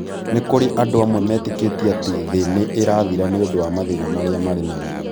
Nĩ kũrĩ andũ amwe metĩkĩtie atĩ thĩ nĩ ĩrathira nĩ ũndũ wa mathĩna marĩa marĩ namo.